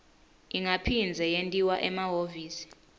ingaphindze yentiwa emahhovisi